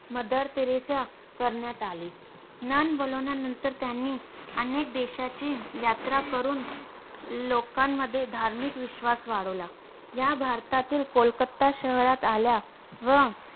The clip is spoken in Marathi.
मदर तेरेसा करण्यात आले. नन बनवल्यानंतर त्यांनी अनेक देशाची यात्रा करून लोकांमध्ये धार्मिक विश्वास वाढवला. या भारतातील कोलकत्ता शहरात आल्या व